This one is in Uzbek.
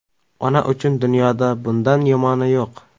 Ona uchun dunyoda bundan yomoni yo‘q.